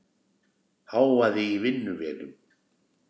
Hávaði í vinnuvélum.